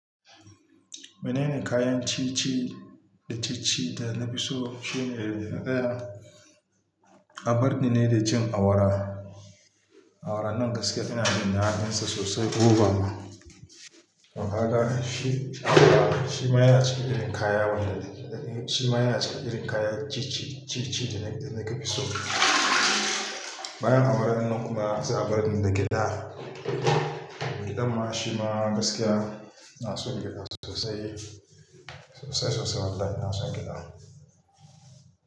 Menene kayan ci ci da ci ci da na fi so? Shi ne daya, abarni ne da jin awara. Awara nan gaskiya ina jin dadin sa sosai. Oha da shi, awara shi ma yana cikin irin kaya wanda shi ma yana cikin irin kaya ci ci, ci ci da na fi so. Bayan awara nan kuma za a bar ni da gyada. Gyada ma shi ma gaskiya ina son gyada sosai, sosai sosai wallahi ina son gyada.